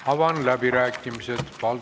Avan läbirääkimised!